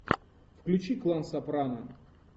включи клан сопрано